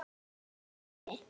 Þinn gamli vinur Matti.